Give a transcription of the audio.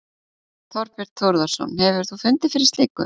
Þorbjörn Þórðarson: Hefur þú fundið fyrir slíku?